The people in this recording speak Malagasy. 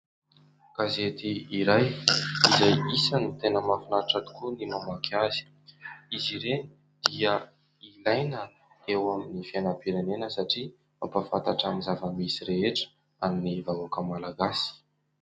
Gazety iray, izay isany tena mahafinaritra tokoa ny mamaky azy. Izy ireny dia ilaina eo amin'ny fiainam-pirenena satria mampahafantatra amin'ny zava-misy rehetra an'ny vahoaka malagasy.